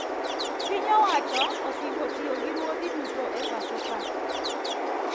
Piny owacho osingo tiyo gi ruodhi duto e e pacho kaa